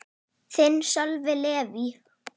Þinn, Sölvi Leví.